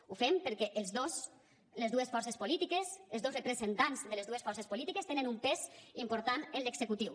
ho fem perquè els dos les dues forces polítiques els dos representants de les dues forces polítiques tenen un pes important en l’executiu